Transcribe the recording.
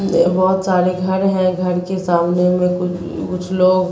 ये बहुत सारे घर हैं घर के सामने में कुछ कुछ लोग--